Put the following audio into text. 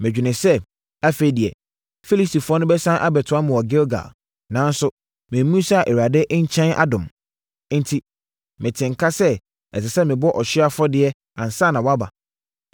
medwenee sɛ, ‘Afei deɛ, Filistifoɔ no bɛsiane abɛtoa me wɔ Gilgal, nanso memmisaa Awurade nkyɛn adom.’ Enti, metee nka sɛ, ɛsɛ sɛ mebɔ ɔhyeɛ afɔdeɛ ansa na woaba.”